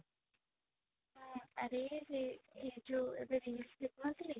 ହଁ ଆରେ ସେ ଏଇ ଯୋଉ ଏବେ reels ଦେଖୁନଥିଲି